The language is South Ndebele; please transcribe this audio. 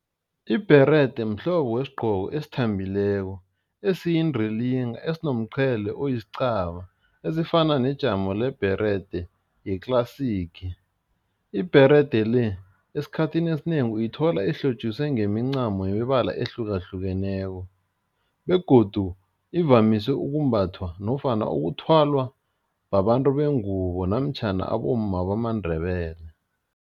Ibherede mhlobo wesigqoko esithambileko, esiyindilinga esinomqhele esifana nejamo lebhede ye-classic ibherede le, esikhathini esinengi uyithola ehlotjiswe ngemincamo yemibala ehlukahlukeneko begodu ivamise ukumbathwa nofana ukuthwalwa babantu bengubo namtjhana abomma bamaNdebele.